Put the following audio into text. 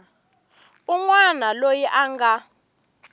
un wana loyi a nga